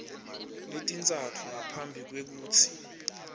letintsatfu ngaphambi kwekutsi